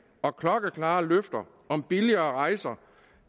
og klokkeklare løfter om billigere rejser